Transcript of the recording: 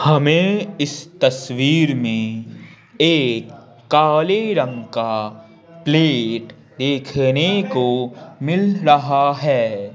हमें इस तस्वीर में एक काले रंग का प्लेट देखने को मिल रहा है।